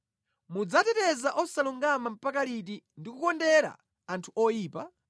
“Mudzateteza osalungama mpaka liti, ndi kukondera anthu oyipa?